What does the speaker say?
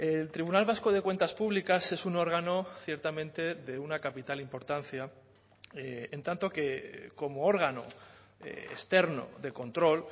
el tribunal vasco de cuentas públicas es un órgano ciertamente de una capital importancia en tanto que como órgano externo de control